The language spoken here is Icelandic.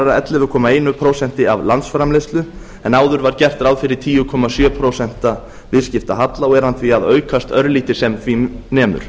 ellefu komma eitt prósent af landsframleiðslu en áður var gert ráð fyrir tíu komma sjö prósent viðskiptahalla og er hann að að aukast örlítið sem því nemur